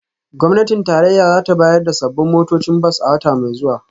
Gwamnatin tarayya za ta bayar da sabbin motocin bas a wata mai zuwa